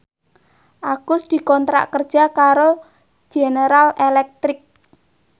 Agus dikontrak kerja karo General Electric